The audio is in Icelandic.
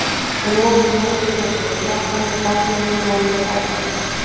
Og nú var komið að skuldadögunum: Ganga með barn í níu mánuði og fæða það!